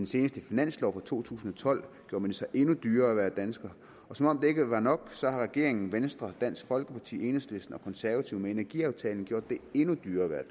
seneste finanslov for to tusind og tolv gjorde man det så endnu dyrere at være dansker og som om det ikke var nok har regeringen venstre dansk folkeparti enhedslisten og konservative med energiaftalen gjort det endnu dyrere at være